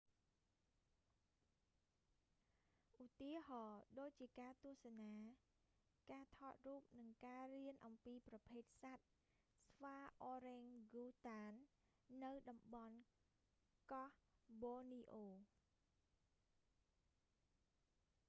ឧទាហរណ៏ដូចជាការទស្សនា ការថតរូប និងការរៀនអំពីប្រភេទសត្វស្វាអររែងហ្គូតាន orangutan នៅតំបន់កោះប៊ននីអូ borneo